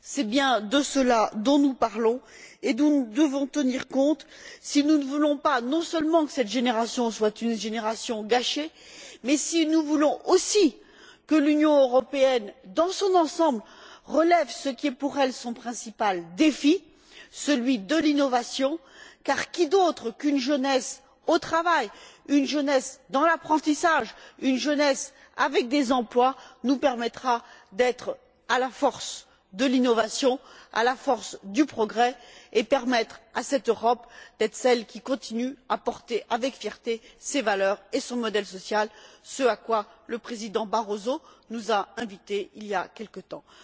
C'est bien de ceux là dont nous parlons et dont nous devons tenir compte si nous ne voulons pas, non seulement, que cette génération soit une génération gâchée, mais si nous voulons aussi que l'Union européenne, dans son ensemble, relève ce qui est pour elle son principal défi, celui de l'innovation, car qui d'autre qu'une jeunesse au travail, une jeunesse dans l'apprentissage, une jeunesse avec des emplois, nous permettra d'être à la pointe de l'innovation, à la pointe du progrès et permettra à cette Europe d'être celle qui continue de porter avec fierté ses valeurs et son modèle social, ce à quoi le Président Barroso nous a invités, il y a quelque temps?